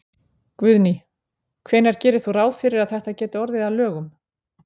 Guðný: Hvenær gerir þú ráð fyrir að þetta geti orðið að lögum?